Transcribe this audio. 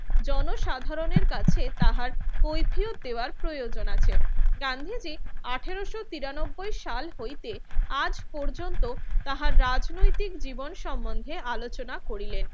জনসাধারণের কাছে তাহার কৈফিয়ত দেওয়ার প্রয়োজন আছে। গান্ধীজি আঠারোশো তিরানব্বই সাল হইতে আজ পর্যন্ত তাহার রাজনৈতিক জীবন সম্বন্ধে আলোচনা করিলেন।